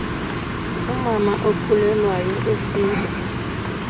umama okhulelwayo esiba